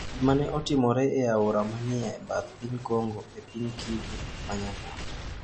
Gima ne otimore e aora ma ni e bath piny Congo e piny Kivu ma Nyanduat.